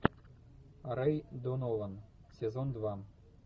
рэй донован сезон два